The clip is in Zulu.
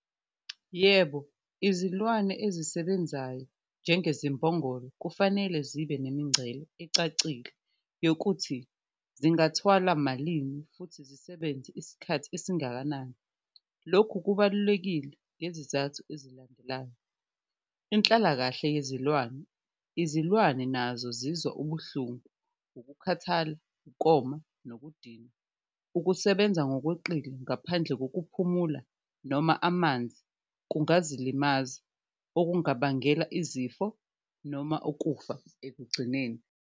Yebo, izilwane ezisebenzayo njengezimbongolo kufanele zibe nemingcele ecacile yokuthi zingathwala malini futhi zisebenze isikhathi esingakanani, lokhu kubalulekile ngezizathu ezilandelayo. Inhlalakahle yezilwane, izilwane nazo zizwa ubuhlungu, ukukhathala, ukoma, nokudinwa, ukusebenza ngokweqile ngaphandle ngokuphumula noma amanzi kungasilimaza okungabangela izifo noma ukufa ekugcineni.